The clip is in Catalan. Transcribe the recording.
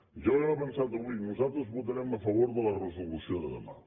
ja ho hem avançat avui nosaltres votarem a favor de la resolució de demà